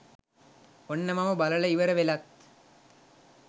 ඔන්න මම බලලා ඉවර වෙලත්